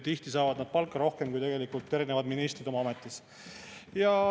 Tihti saavad nad palka rohkem kui ministrid oma ametis.